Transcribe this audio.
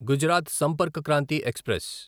Gujarat Sampark Kranti express